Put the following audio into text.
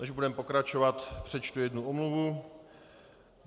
Než budeme pokračovat, přečtu jednu omluvu.